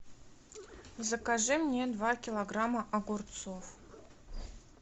закажи мне два килограмма огурцов